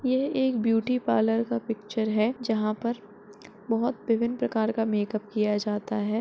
यह एक beauty parlour का पिक्चर है जहाँ पर बहोत विभिन्न प्रकार का मेकअप किया जाता है।